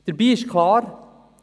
Dabei ist klar: